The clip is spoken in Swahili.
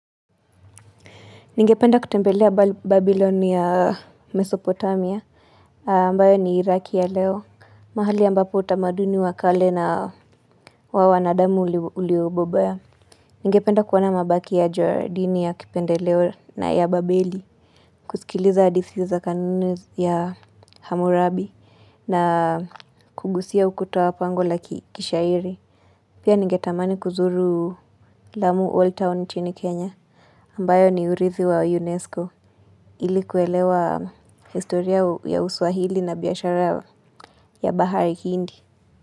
Ningependa kutembelea Babylon ya Mesopotamia, ambayo ni Iraki ya Leo, mahali ambapo utamaduni wakale na wa wanaadamu uliobobea. Ningependa kuwana mabaki ya Jordini ya kipende Leo na ya Babeli, kusikiliza hadithi za kanunu ya Hammurabi na kugusia ukutuwa pangola kishairi. Pia nigetamani kuzuru lamu Old Town chini Kenya ambayo ni urithi wa UNESCO ilikuwelewa historia ya Uswahili na biashara ya bahari Hindi.